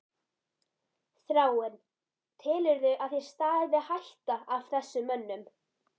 Þráinn: Telurðu að þér stafi hætta af þessum mönnum?